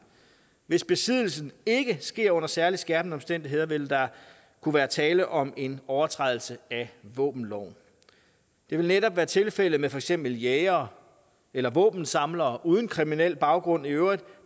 hvis besiddelsen ikke sker under særligt skærpende omstændigheder vil der kunne være tale om en overtrædelse af våbenloven det vil netop være tilfældet med for eksempel jægere eller våbensamlere uden kriminel baggrund i øvrigt